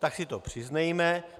Tak si to přiznejme!